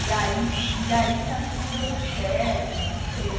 E aí e aí acho que não deu muito certo, não sei.